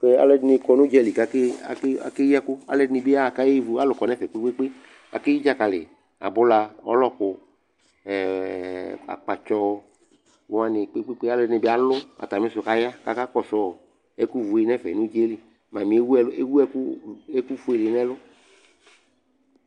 Tɛ alʋɛdɩnɩ kɔ nʋ ʋdza li kʋ ake ake akeyi ɛkʋ Alʋɛdɩnɩ bɩ yaɣa kayevu Alʋ kɔ nʋ ɛfɛ kpe-kpe-kpe Akeyi dzakalɩ, abʋla, ɔlɔkʋ, ɛ ɛ ɛ akpatsɔ wanɩ kpe-kpe-kpe Alʋɛdɩnɩ bɩ alʋ atamɩ sʋ kʋ aya kʋ akakɔsʋ ɔ ɛkʋvu yɛ nʋ ɛfɛ nʋ ʋdza yɛ li Mamɩ yɛ ewu ɛlʋ ewu ɛkʋ r fue dɩ nʋ ɛlʋ